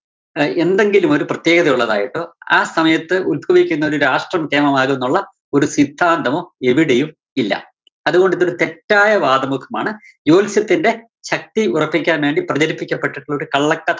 ല് എന്തെങ്കിലും ഒരു പ്രത്യേകതയുള്ളതായിട്ടോ ആ സമയത്ത് ഉത്ഭവിക്കുന്നൊരു രാഷ്ട്രം ന്നൊള്ള ഒരു സിദ്ധാന്തമോ എവിടെയും ഇല്ല. അതുകൊണ്ടിതൊരു തെറ്റായ വാദമുഖമാണ്. ജോല്‍സ്യത്തിന്റെ ശക്തി ഉറപ്പിക്കാന്‍ വേണ്ടി പ്രചരിപ്പിക്കപ്പെട്ടിട്ടുള്ള ഒരു കള്ളകഥ